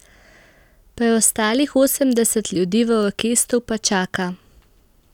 Preostalih osemdeset ljudi v orkestru pa čaka.